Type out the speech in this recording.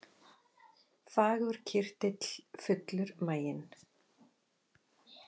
Fagur kyrtill, fullur maginn